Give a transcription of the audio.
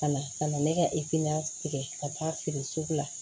Ka na ka na ne ka efiliyan tigɛ ka taa feere sugu la